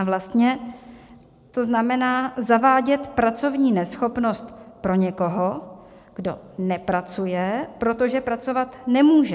A vlastně to znamená zavádět pracovní neschopnost pro někoho, kdo nepracuje, protože pracovat nemůže.